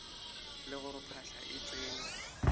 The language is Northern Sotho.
le gore phahla e tsene